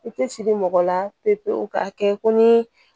I tɛ siri mɔgɔ la pewu pewu ka kɛ ko ni